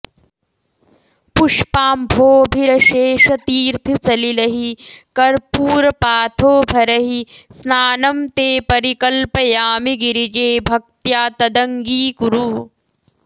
पुष्पाम्भोभिरशेषतीर्थसलिलैः कर्पूरपाथोभरैः स्नानं ते परिकल्पयामि गिरिजे भक्त्या तदङ्गीकुरु